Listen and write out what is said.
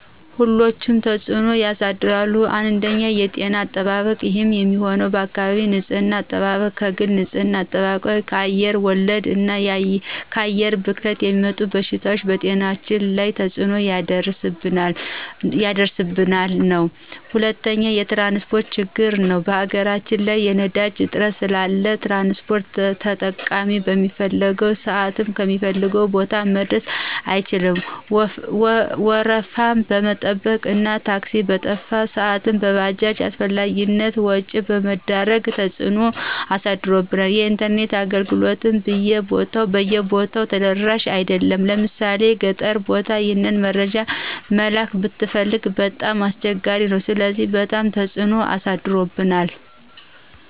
ሁሎችም ተፅኖ ያሳድራሉ አንደኛ የጤና አጠባበቅ ይህም የሚሆነው በአካባቢ ንፅህና አጠባበቅ፣ ከግል ንፅህና አጠባብቅ፣ ከአየር ወለድ እና ከአየር ብክለት የሚመጡ በሽታዎች በጤናችን ላይ ተፅኖ እያሳደረብን ነው። ሁለተኛው የትራንስፖርት ችግር ነው በሀገራችን ላይ የነዳጅ እጥረት ስላለ ትራንስፖርት ተጠቃሚ በሚፈልገው ስአት ከሚፈልገው ቦታ መድረስ አልቻለም ወረፋ መጠበቁ እና ታክሲ በጠፋ ስአት በባጃጅ አላስፈላጊ ወጭ መዳረጋችን ተፅኖ አሳድሮብናል። የኢንተርኔት አገልግሎትም ብይ ቦታው ተደራሽ አይደሉም ለምሣሌ ገጠር ቦታ ይህን መረጃ መላክ ብትፈልግ በጣም አስቸጋሪ ነው ስለዚህ በጣም ትፅኖ አሳድሮብናል።